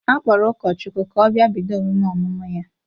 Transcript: A kpọrọ ụkọchukwu ka ọ bịa bido emume ọmụmụ ya!